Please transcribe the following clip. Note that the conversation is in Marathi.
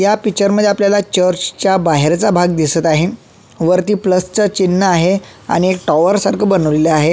या पिक्चर मध्ये आपल्याला चर्चच्या बाहेरचा भाग दिसत आहे वरती प्लसच चिन्ह आहे आणि एक टावर सारख बनवलेल आहे.